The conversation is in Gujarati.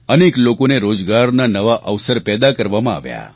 અનેક લોકોને રોજગારના નવા અવસર પેદા કરવામાં આવ્યા